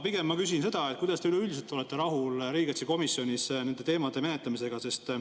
Pigem ma küsin seda, et kuidas te üleüldiselt olete rahul riigikaitsekomisjonis nende teemade menetlemisega.